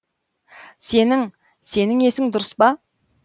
сенің сенің есің дұрыс па